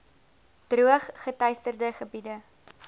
droog geteisterde gebiede